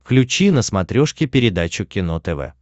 включи на смотрешке передачу кино тв